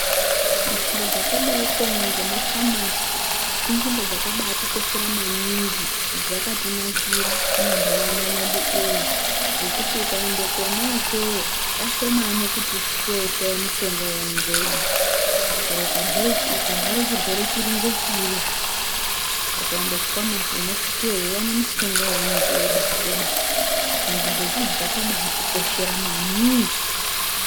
Munzvimbo dzakadaiko ngemafamasi inzvimbo dzakaba atikoshera maningi, dzakatinakira mumanharaunda mwedu umwo ngekuti ukaenda kona ikweyo kashomani kuti usvikeyo ushaye mushonga weinenge weida chero ukarwara chirwere chiri ngechiri hacho ukaende kufamasi unosvikeyo weiwane mushonga weunenge wabaatoda, saka nzvimbo dziidzi dzakaba atikoshera maningi.